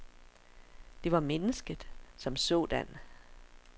Det var mennesket som sådan.